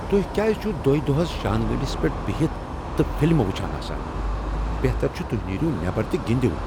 تۄہہ کیاز چھ، دویہ دوہس شاندگنڈِس پیٹھ بِہِتھ تہٕ فلمہٕ وٗچھان آسان ؟ بہتر چھٗ توہۍ نیریو نیبر تہٕ گندیو!